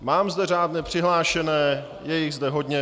Mám zde řádně přihlášené, je jich zde hodně.